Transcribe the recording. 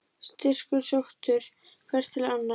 Styrkur sóttur hvert til annars.